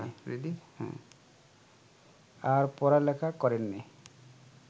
আর পড়ালেখা করেননি